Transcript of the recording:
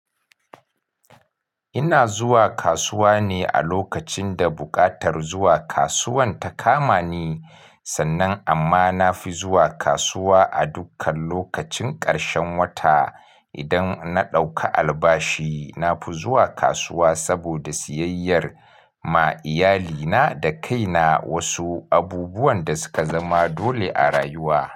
Ina zuwa kasuwa ne a lokacin da buƙatar zuwa kasuwan ta kama ni, sannan amma nafi zuwa kasuwa a dukkan lokacin ƙarshen wata idan na ɗauka albashi. Nafi zuwa kasuwa saboda siyayyar ma iyalina da kaina wasu abubuwan da suka zama dole a rayuwa.